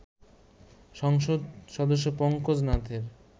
সংসদ সদস্য পঙ্কজ নাথের